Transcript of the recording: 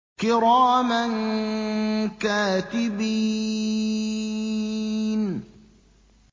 كِرَامًا كَاتِبِينَ